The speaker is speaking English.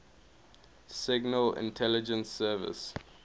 signal intelligence service